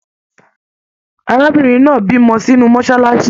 Arábìnrin náà bímọ sínú mọsálásí